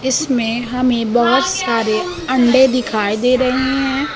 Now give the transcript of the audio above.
इसमें हमें बहुत सारे अंडे दिखाई दे रहे हैं।